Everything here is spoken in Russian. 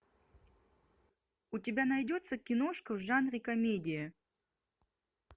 у тебя найдется киношка в жанре комедия